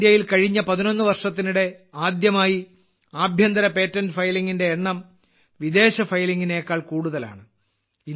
ഇന്ത്യയിൽ കഴിഞ്ഞ 11 വർഷത്തിനിടെ ആദ്യമായി ആഭ്യന്തര പേറ്റന്റ് ഫയലിംഗിന്റെ എണ്ണം വിദേശ ഫയലിംഗിനെക്കാൾ കൂടുതലാണ്